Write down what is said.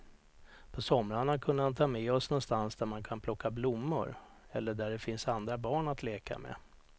På somrarna kunde han ta med oss någonstans där man kan plocka blommor eller där det finns andra barn att leka med.